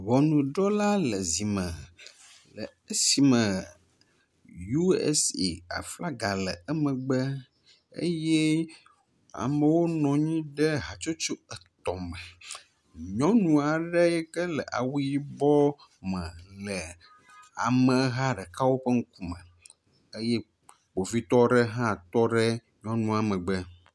Ŋunɔdrɔla le zi me esi me U.S.A aflaga le emegbe eye amewo nɔ anyi ɖe hatsotso etɔ̃ me. Nyɔnu aɖe yi ke le awu yibɔ me le ameha ɖeka ƒe ŋkume eye kpovitɔ ɖe hã tɔ ɖe nyɔnua megbe.